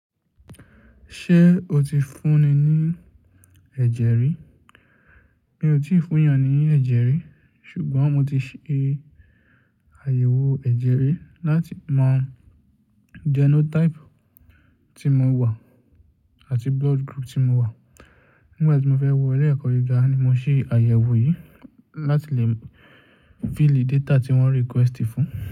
Ṣé o ti fúnni ní ẹ̀jẹ̀ rí? Mi ò tí ì fún èèyàn ní ẹ̀jẹ̀ rí, ṣùgbọ́n mo ti ṣe àyẹ̀wò ẹ̀jẹ̀ rí láti mọ genotype tí mo wà àti blood group tí mo wà. Nígbà tí mo fẹ́ wọ ilé ẹ̀kọ́ gíga ni mo ṣe àyẹ̀wò yìí láti lè fill data tí wọ́n requested fún.